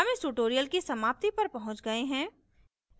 हम इस tutorial की समाप्ति पर पहुँच गए हैं